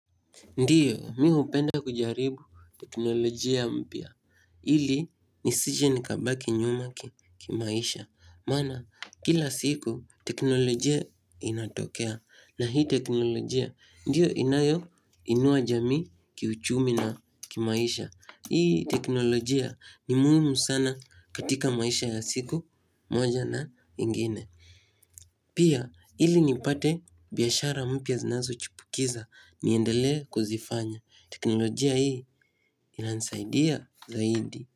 Ndiyo, mihupenda kujaribu teknolojia mpia. Ili, nisije nikabaki nyuma ki maisha. Mana, kila siku teknolojia inatokea. Na hii teknolojia, ndiyo inayo inuajami ki uchumi na kimaisha. Hii teknolojia ni muhimu sana katika maisha ya siku moja na ingine. Pia ili nipate biashara mpya zinazo chipukiza niendelee kuzifanya. Teknolojia hii inanisaidia zaidi.